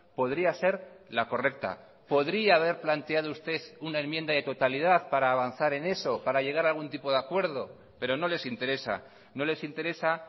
podría ser la correcta podría haber planteado usted una enmienda de totalidad para avanzar en eso para llegar a algún tipo de acuerdo pero no les interesa no les interesa